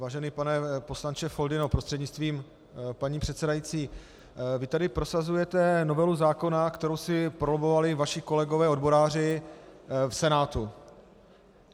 Vážený pane poslanče Foldyno prostřednictvím paní předsedající, vy tu prosazujete novelu zákona, kterou si probojovali vaši kolegové odboráři v Senátu.